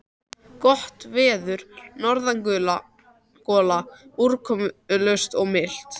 Gott veður, norðangola, úrkomulaust og milt.